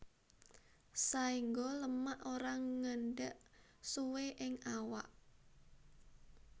Saéngga lemak ora ngendhek suwé ing awak